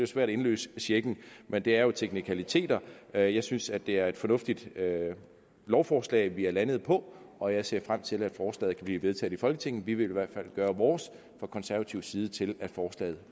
svært at indløse checken men det er jo teknikaliteter jeg jeg synes at det er et fornuftigt lovforslag vi er landet på og jeg ser frem til at forslaget kan blive vedtaget i folketinget vi vil i hvert fald gøre vores fra konservativ side til at forslaget